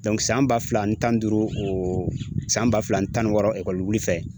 san ba fila ani tan ni duuru ?o san ba fila ani tan ni wɔɔrɔ ekɔli wili fɛ.